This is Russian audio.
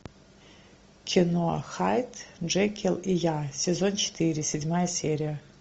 кино хайд джекилл и я сезон четыре седьмая серия